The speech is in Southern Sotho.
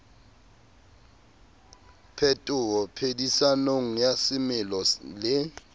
phetoho phedisanong ya semelo le